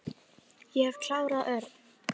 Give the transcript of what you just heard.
Ég hef klárað Örn.